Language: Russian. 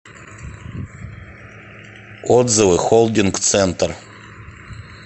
отзывы холдинг центр